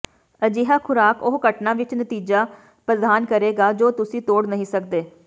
ਅਜਿਹਾ ਖੁਰਾਕ ਉਹ ਘਟਨਾ ਵਿਚ ਨਤੀਜਾ ਪ੍ਰਦਾਨ ਕਰੇਗਾ ਜੋ ਤੁਸੀਂ ਤੋੜ ਨਹੀਂ ਸਕਦੇ